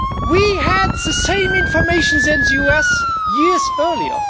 We had the same information as the US, years earlier.